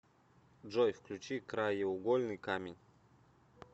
джой включи краеугольный камень